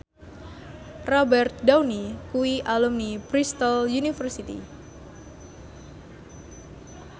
Robert Downey kuwi alumni Bristol university